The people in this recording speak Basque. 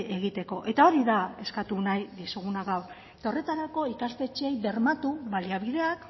egiteko eta hori da eskatu nahi dizuguna gaur eta horretarako ikastetxeei bermatu baliabideak